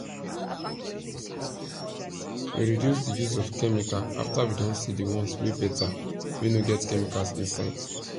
we reduce the use of chemical after we don see the ones wey better wey no get chemicals inside